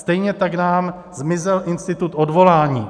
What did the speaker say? Stejně tak nám zmizel institut odvolání.